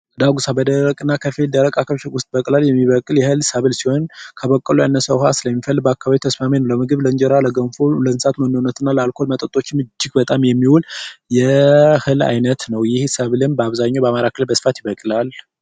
ዳጉሳ በደረቅ እና ከፊል ደረቅ አካባቢወች ዉስጥ የሚበቅል ሰፊ የሀይል ሰብል ሲሆን ከበቆሎ ያነሰ ዉሀ ስለሚፈልግ ለአካባቢ ተስማሚ ነዉ። ለምግብ ለእንጀራ ለገንፎ ለእንስሳት መኖነት እና ለአልኮል መጠጦችም የሚዉል እጅግ በጣም የሚዉል የህል አይነት ነዉ። ይህ ሰብልም በአብዛኛዉ በአማራ ክልል ይበቅላል።